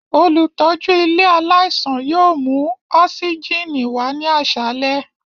Olutọju ile alaisan yoo mu osigini wa ni aṣalẹ.